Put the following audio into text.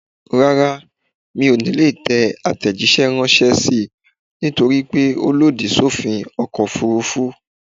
Rárá, mi ò ní lè tẹ àtẹ̀jíṣẹ́ ránṣẹ́ sí ẹ nítorípé ó lòdì sófin ọkọ̀ òfurufú